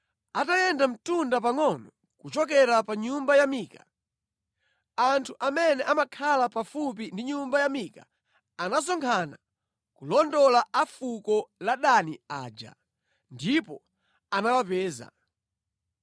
Atayenda mtunda pangʼono kuchokera pa nyumba ya Mika, anthu amene amakhala pafupi ndi nyumba ya Mika anasonkhana kulondola a fuko la Dani aja, ndipo anawapeza.